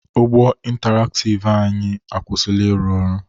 Ụgbọ intaraktiv anyị akwụsịla ịrụ ọrụ.